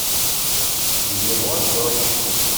его дочь